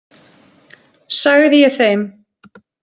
Sagði ég þeim.